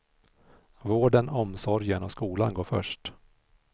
Vården, omsorgen och skolan går först.